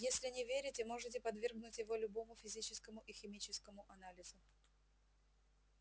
если не верите можете подвергнуть его любому физическому и химическому анализу